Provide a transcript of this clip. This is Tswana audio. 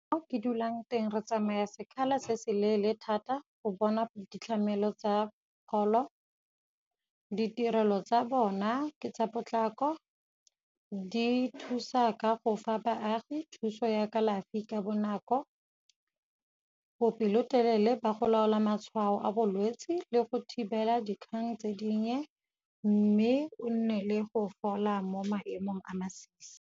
Mo ke dulang teng re tsamaya sekgala se se leele thata go bona ditlhamelong tsa pholo. Ditirelo tsa bona ke tsa potlako, di thusa ka go fa baagi thuso ya kalafi ka bonako, bo pelotelele ba go laola matshwao a bolwetse le go thibela dikgang tse dinnye, mme o nne le go fola mo maemong a masisi.